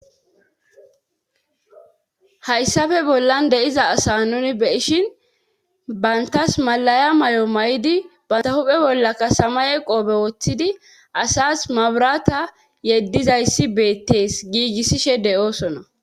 hayssafe bollan deiza asa nuni beyishin bantas malaya may7o may7idi banta huphe bollaka sama ye qoobe woththidi asas maburata yeddizayssi beettees giigissishe de7oosona